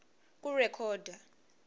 kurekhoda